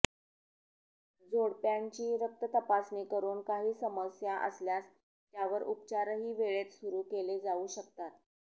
जोडप्यांची रक्ततपासणी करून काही समस्या असल्यास त्यावर उपचारही वेळेत सुरू केले जाऊ शकतात